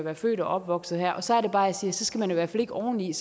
er født og opvokset her så er det bare jeg siger at så skal man i hvert fald ikke oveni